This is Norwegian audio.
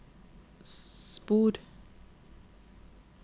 spor